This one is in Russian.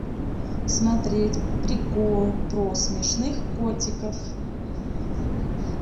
смотреть приколы про смешных котиков